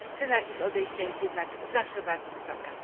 Cena ich odejścia jest jednak zawsze bardzo wysoka.